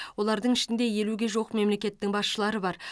олардың ішінде елуге жуық мемлекеттің басшылары бар